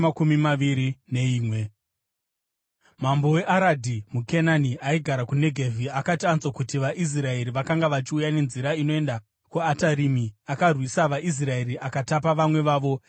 Mambo weAradhi muKenani aigara kuNegevhi, akati anzwa kuti vaIsraeri vakanga vachiuya nenzira inoenda kuAtarimi, akarwisa vaIsraeri akatapa vamwe vavo.